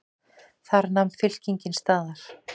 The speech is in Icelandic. Þar nam fylkingin staðar.